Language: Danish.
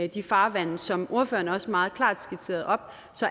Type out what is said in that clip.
de farvande som ordføreren også meget klart skitserede op